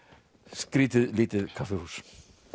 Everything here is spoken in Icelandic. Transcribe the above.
skrýtið lítið kaffihús